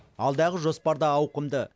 алдағы жоспар да ауқымды